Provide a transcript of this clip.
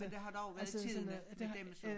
Men der har dog været tidligt med dem så